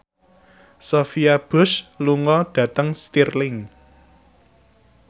Sophia Bush lunga dhateng Stirling